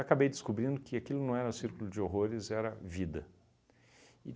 descobrindo que aquilo não era um círculo de horrores, era vida. E